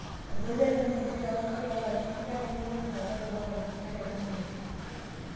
Etadale ninye empira oonkaik toolarin tikitam nepuku ninye olari le 2016